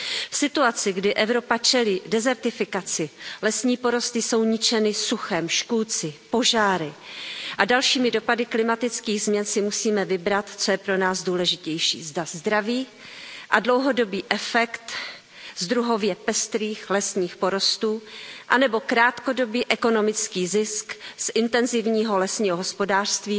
V situaci, kdy Evropa čelí dezertifikaci, lesní porosty jsou ničeny suchem, škůdci, požáry a dalšími dopady klimatických změn si musíme vybrat, co je pro nás důležitější zda zdraví a dlouhodobý efekt z druhově pestrých lesních porostů anebo krátkodobý ekonomický zisk z intenzivního lesního hospodářství